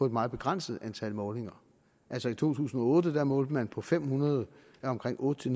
et meget begrænset antal målinger altså i to tusind og otte målte man på fem hundrede af omkring otte